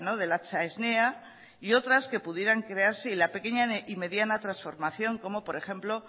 de latxa esnea y otras que pudieran crearse y la pequeña y mediana transformación como por ejemplo